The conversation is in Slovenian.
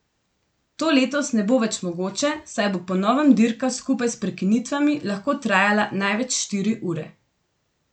To letos ne bo več mogoče, saj bo po novem dirka skupaj s prekinitvami lahko trajala največ štiri ure.